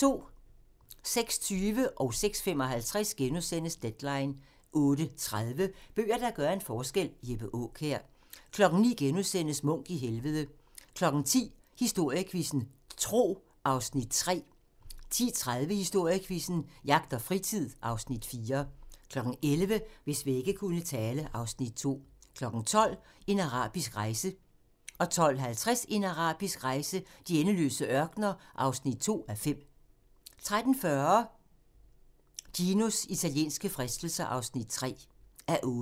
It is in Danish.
06:20: Deadline * 06:55: Deadline * 08:30: Bøger, der gør en forskel – Jeppe Aakjær 09:00: Munch i Helvede * 10:00: Historiequizzen: Tro (Afs. 3) 10:30: Historiequizzen: Jagt og fritid (Afs. 4) 11:00: Hvis vægge kunne tale (Afs. 2) 12:00: En arabisk rejse 12:50: En arabisk rejse: De endeløse ørkener (2:5) 13:40: Ginos italienske fristelser (3:8)